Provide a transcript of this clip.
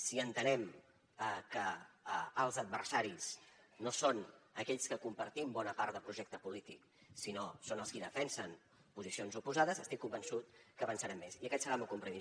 si entenem que els adversaris no són aquells que compartim bona part de projecte polític sinó que són els qui defensen posicions oposades estic convençut que avançarem més i aquest serà el meu compromís